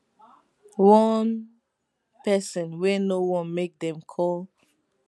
one pesin wey no wan make dem call